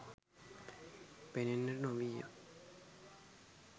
පෙනෙන්නට නොවීය.